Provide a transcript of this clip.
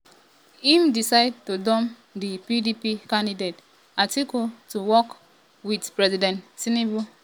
im decide to um dump di pdp candidate atiku to work wit president tinubu.